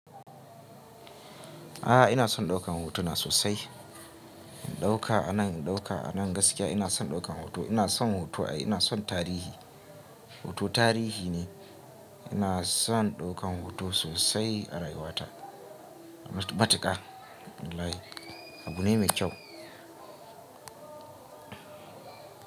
Ahh, ina son daukan hotuna sosai in ɗauka a nan, in ɗauka a nan gaskiya ina son ɗaukan hoto. Ina son hoto ai, ina son tarihi. Hoto tarihi ne. Ina son ɗaukan hoto sosai a rayuwata. Matuka wallahi abu ne mai kyau.